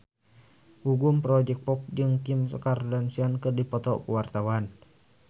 Gugum Project Pop jeung Kim Kardashian keur dipoto ku wartawan